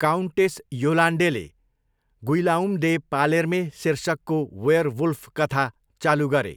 Countess योलान्डेले 'Guillaume de Palerme' शीर्षकको werewolf कथा चालु गरे।